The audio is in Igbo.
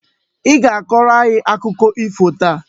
I ga-akọrọ anyị akụkọ ifo taa!